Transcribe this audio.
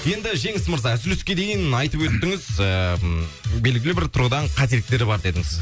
енді жеңіс мырза үзіліске дейін айтып өттіңіз ыыы белгілі бір тұрғыдан қателіктер бар дедіңіз